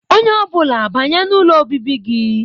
Onye ọ bụla banye n'ụlọ obibi gị